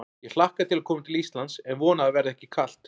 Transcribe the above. Ég hlakka til að koma til Íslands en vona að það verði ekki kalt.